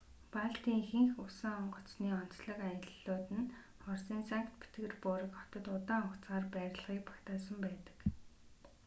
балтийн ихэнх усан онгоцны онцлог аяллууд нь оросын санкт-петербург хотод удаан хугацаагаар байрлахыг багтаасан байдаг